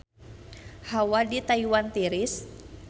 Hawa di Taiwan tiris